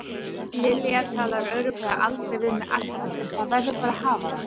Lilja talar örugglega aldrei við mig aftur en það verður bara að hafa það.